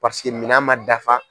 minan man dafa.